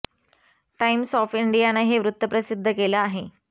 times of India नं हे वृत्त प्रसिद्ध केलं आहे